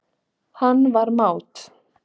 Hann var mát.